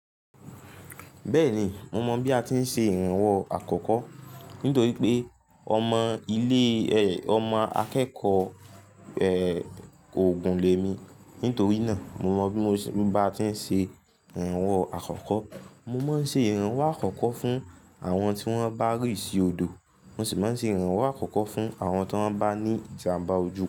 Bẹ́ẹ̀ni, mo mọ bí a ti ń ṣe ìrànwọ́ àkọ́kọ́. Nítorí pé ọmọ ilé, ẹ, ọmọ akẹ́kọ̀ọ́, ẹ, òògùn lè mi. Nítorí náà mo mọ bí mo ba ti ń ṣe ìrànwọ́ àkọ́kọ́. Mo máa ń ṣe ìrànwọ́ àkọ́kọ́ fún àwọn tí wọ́n bá rì sí odò. Mo sì máa ń ṣe ìrànwọ́ àkọ́kọ́ fún àwọn tí wọ́n bá ní ìjàmbá ojú.